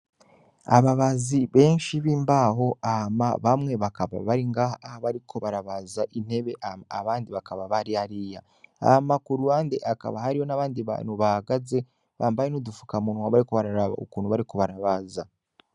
Ababazi benshi b'imbaho ama bamwe bakaba baringaha aho bariko barabaza intebe ama abandi bakaba bari ariya ama ku ruwande akaba hari ho n'abandi bantu baagaze bambaye n'udufuka munwa bariko bararaba ukuntu bari ko barabaza.